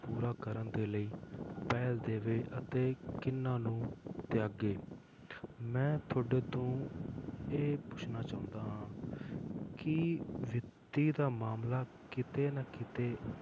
ਪੂਰਾ ਕਰਨ ਦੇ ਲਈ ਪਹਿਲ ਦੇਵੇ ਅਤੇ ਕਿਹਨਾਂ ਨੂੰ ਤਿਆਗੇ ਮੈਂ ਤੁਹਾਡੇ ਤੋਂ ਇਹ ਪੁੱਛਣਾ ਚਾਹੁੰਦਾ ਹਾਂ ਕਿ ਵਿੱਤੀ ਦਾ ਮਾਮਲਾ ਕਿਤੇ ਨਾ ਕਿਤੇ